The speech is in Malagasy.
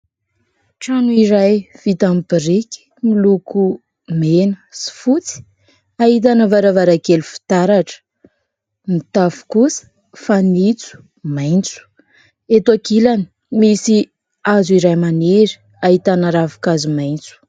Trano iray vita amin'ny biriky miloko mena sy fotsy ahitana varavarankely fitaratra, ny tafo kosa fanitso maitso. Eto ankilany misy hazo iray maniry ahitana ravinkazo maitso.